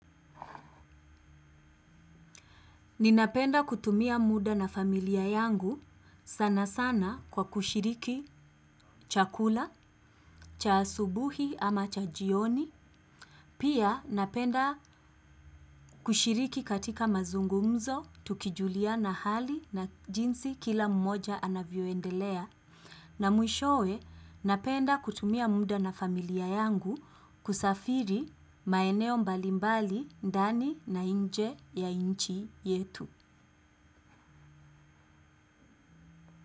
Ninapenda kutumia muda na familia yangu sanasana kwa kushiriki chakula, cha asubuhi ama cha jioni, pia napenda kushiriki katika mazungumzo, tukijuliana hali na jinsi kila mmoja anavyoendelea, na mwishowe napenda kutumia mda na familia yangu kusafiri maeneo mbalimbali ndani na inje ya inchi yetu.